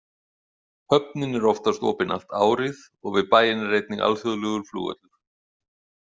Höfnin er oftast opin allt árið og við bæinn er einnig alþjóðlegur flugvöllur.